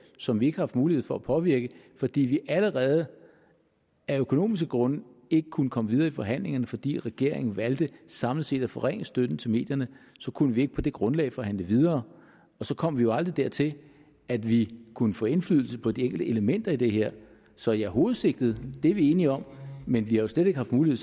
som vi ikke haft mulighed for at påvirke fordi vi allerede af økonomiske grunde ikke kunne komme videre i forhandlingerne fordi regeringen valgte samlet set at forringe støtten til medierne så kunne vi ikke på det grundlag forhandle videre og så kom vi jo aldrig dertil at vi kunne få indflydelse på de enkelte elementer i det her så ja hovedsigtet er vi enige om men vi har slet ikke haft mulighed